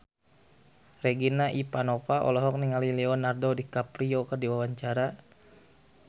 Regina Ivanova olohok ningali Leonardo DiCaprio keur diwawancara